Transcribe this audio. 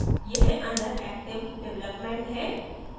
यह under active development है